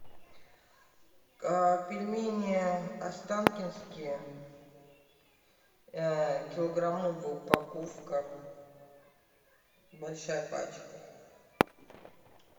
пельмени останкинские килограммовая упаковка большая пачка